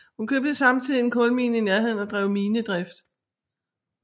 Hun købte samtidigt en kulmine i nærheden og drev minedrift